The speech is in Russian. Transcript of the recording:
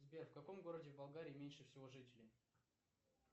сбер в каком городе в болгарии меньше всего жителей